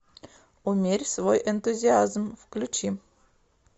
умерь свой энтузиазм включи